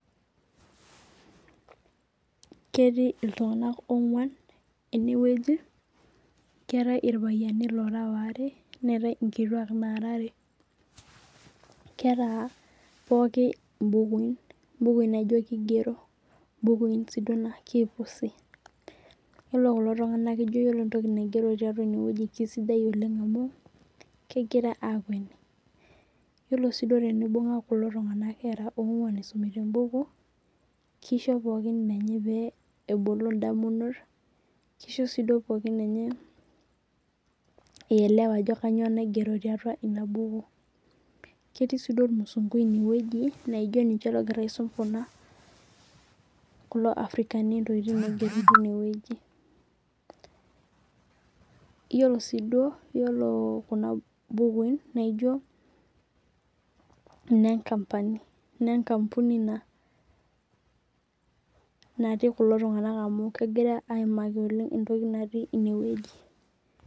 Ketii oltung'ana ong'uan eneweji. Keetae irpayiani ong'uan neetae inkituak nara are. Keeta pookin ibukuin ibukuin naijo kigero bukuin sii naa kipusi. Iyiolo kulo tung'ana naa ijo keeta entoki naigero tineweji na kisidai oleng' amu kegira akueni. Iyiolo sii duo tenibung'a kulo tung'ana era ong'uan isumita ebuku kisho pookin enye pee ebol idamunot . Kisho sii duo pookin enye ee elewa ajo kainyo naigeru tiatua ina buku. Ketii sii duo ormusungui ineweji naijo ninye logira aisum kulo africani intokitin naigero tineweji. Iyiolo sii duo iyiolo kuna bukuin naijo nee kampuni naati kulo tung'ana amh kegirai aimaki oleng' entoki naati ineweji.